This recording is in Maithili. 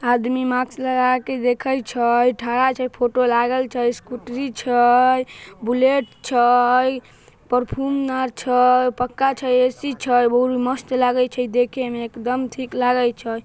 आदमी मास्क लगा के देखे छै ठड़ा छैफोटो लागल छै स्कूटरी छै बुलेट छै परफ्यूम आर छै पक्का छै ए_सी छै बहुत मस्त लागे छै देखे में एक दम ठीक लागे छै।